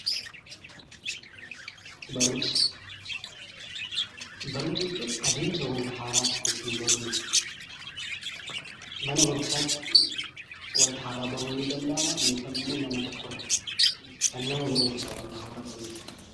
Barumsa jechuun adeemsa itti wanta haaraa tokko ittiin baruu jechuudha. Mana barumsaatti yookiin nama tokko irraa wanta haaraa baruun danda'ama.